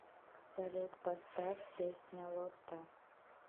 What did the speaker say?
салют поставь песня лотта